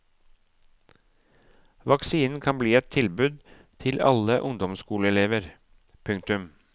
Vaksinen kan bli et tilbud til alle ungdomsskoleelever. punktum